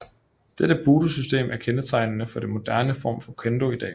Dette budosystem er kendetegnende for den moderne form for Kendo i dag